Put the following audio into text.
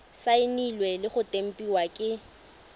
saenilwe le go tempiwa ke